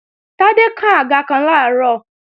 Tádé kán àga kan làárọ̀